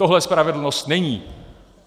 Tohle spravedlnost není.